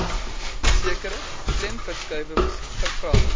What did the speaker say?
sekere klemverskuiwings gevra